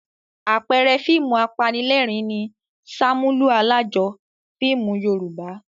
Àpẹẹrẹ fíìmù apanílẹ̀rín ni "Ṣàmúlò Alájọ" fíìmù Yorùbá.